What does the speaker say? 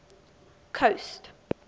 coast